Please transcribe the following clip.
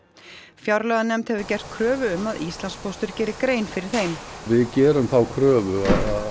fjárlaganefnd hefur gert kröfu um að Íslandspóstur geri grein fyrir þeim við gerum þá kröfu